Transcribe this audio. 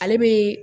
Ale bɛ